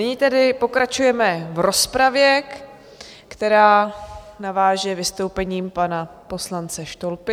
Nyní tedy pokračujeme v rozpravě, která naváže vystoupením pana poslance Štolpy.